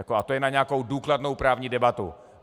A to je na nějakou důkladnou právní debatu.